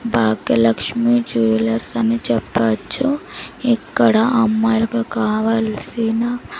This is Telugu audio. భాగ్యలక్ష్మి జ్యువెలర్స్ అని చెప్పచ్చు ఇక్కడ అమ్మాయిలకి కావాల్సిన --